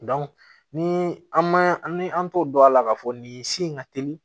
ni an ma ni an t'o dɔn a la k'a fɔ nin si in ka teli